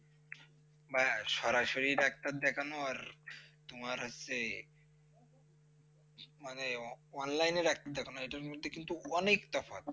সরাসরি doctor দেখানো আর তোমার হচ্ছে, মানে online র doctor দেখানো, এটার মধ্যে কিন্তু অনেকটা ফারাক।